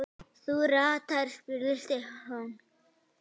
Þú ratar? spurði Stefán.